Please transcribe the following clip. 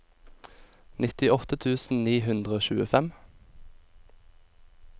nittiåtte tusen ni hundre og tjuefem